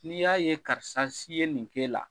N'i y'a ye karisa si ye nin k'e la